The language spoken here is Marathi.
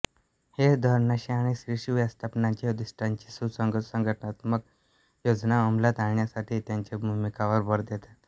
हे धोरणांशी आणि शीर्ष व्यवस्थापनाच्या उद्दिष्टांशी सुसंगत संघटनात्मक योजना अंमलात आणण्यासाठी त्यांच्या भूमिकांवर भर देतात